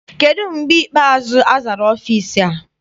Kedụ mgbe ikpeazụ azara ọfịịsi a?